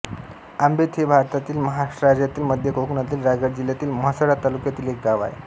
आंबेत हे भारतातील महाराष्ट्र राज्यातील मध्य कोकणातील रायगड जिल्ह्यातील म्हसळा तालुक्यातील एक गाव आहे